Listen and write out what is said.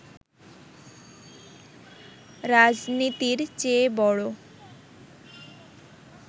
রাজনীতির চেয়ে বড়